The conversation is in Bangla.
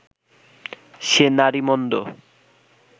সে নারী মন্দ